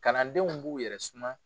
Kalandenw b'u yɛrɛ suma.